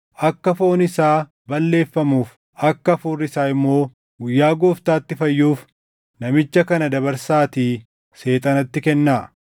akka foon isaa balleeffamuuf, akka hafuurri isaa immoo guyyaa Gooftaatti fayyuuf namicha kana dabarsaatii Seexanatti kennaa.